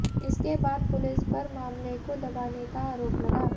इसके बाद पुलिस पर मामले को दबाने का आरोप लगा